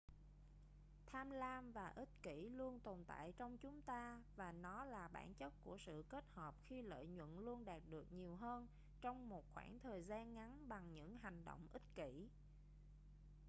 tham lam và ích kỷ luôn tồn tại trong chúng ta và nó là bản chất của sự kết hợp khi lợi nhuận luôn đạt được nhiều hơn trong một khoảng thời gian ngắn bằng những hành động ích kỷ